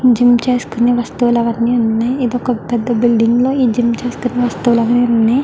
Gym ఏం చేసుకుంటున్న వస్తువులన్నీ ఉన్నాయ్. ఇది ఒక పెద్ద బిల్డింగ్ లో ఈ వస్తువులు అని ఉన్నాయ్.